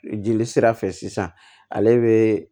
Jeli sira fɛ sisan ale be